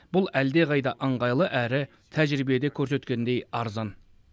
бұл әлдеқайда ыңғайлы әрі тәжірибеде көрсеткендей арзан